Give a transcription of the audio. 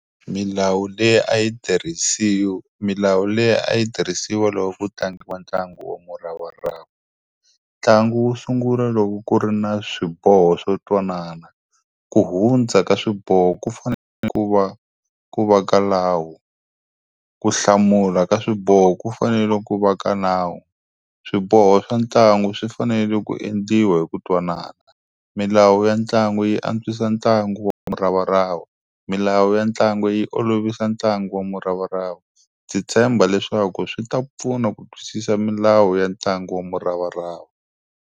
Milawu leyi a yi milawu leyi a yi tirhisiwa loko ku tlangiwa ntlangu wa muravarava. Ntlangu wu sungula loko ku ri na swiboho swo twanana. Ku hundza ka swiboho ku fanele ku va ku va ka nawu. Ku hlamula ka swiboho ku fanele ku va ka nawu. Swiboho swa ntlangu swi fanele ku endliwa hi ku twanana. Milawu ya ntlangu yi antswisa ntlangu wa muravarava. Milawu ya ntlangu yi olovisa ntlangu wa muravarava. Ndzi tshemba leswaku swi ta pfuna ku twisisa milawu ya ntlangu wa muravarava.